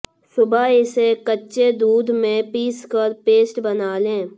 सुबह इसे कच्चे दूध में पीसकर पेस्ट बना लें